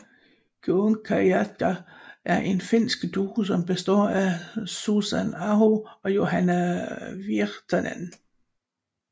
Kuunkuiskaajat er en finsk duo som består af Susan Aho og Johanna Virtanen